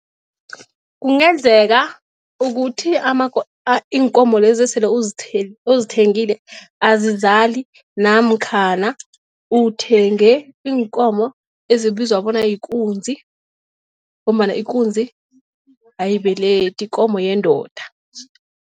Kungenzeka ukuthi iinkomo lezo sele uzithengile azizali namkhana uthenge iinkomo ezibizwa bona yikunzi ngombana ikunzi ayibelethi yikomo yendoda.